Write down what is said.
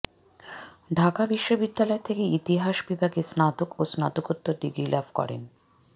ঢাকা বিশ্ববিদ্যালয় থেকে ইতিহাস বিভাগে স্নাতক ও স্নাতকোত্তর ডিগ্রি লাভ করেন